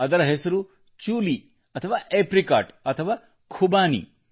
ಅದರ ಹೆಸರು ಚೂಲೀ ಅಥವಾ ಏಪ್ರಿಕಾಟ್ ಅಥವಾ ಖುಬಾನಿ